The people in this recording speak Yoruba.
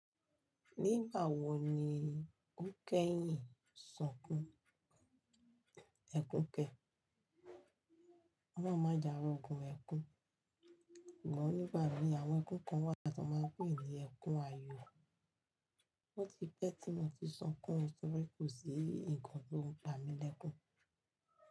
Nígbà wo ni ó kẹ́yìn sunkún ẹkún kẹ? Olohun máa ja ro ògùn ẹkún, ṣùgbọ́n nígbà mi àwọn ẹkún kan wà tí wọ́n máa ń pè ní ẹkún ayọ̀. O ti pẹ́ tí mo ti sunkún o torí kò sí nǹkan tó ń pa mi lẹ́kún.